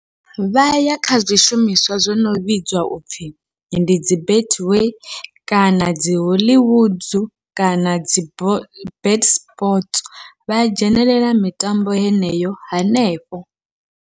Vha ya kha zwishumiswa zwono vhidzwa upfhi ndi dzi Betway kana dzi Hollywood kana dzi Bet sports vha dzhenelela mitambo heneyo hanefho.